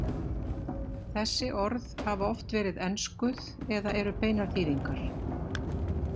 Þessi orð hafa oft verið enskuð eða eru beinar þýðingar.